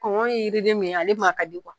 ye yiriden min ye, ale man ka di